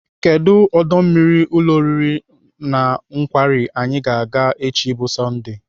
Kedụ ọdọ mmiri ụlọ oriri na nkwari anyị ga-aga echi bụ Sọndee?